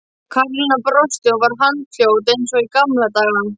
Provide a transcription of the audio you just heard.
Karólína brosti og var handfljót eins og í gamla daga.